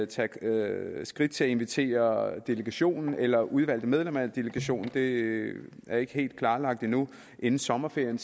tage skridt til at invitere delegationen eller udvalgte medlemmer af delegationen det er ikke helt klarlagt endnu inden sommerferien